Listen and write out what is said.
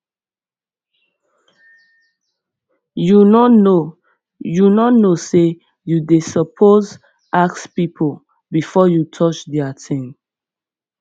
you no know you no know sey you suppose ask pipo before you touch their tin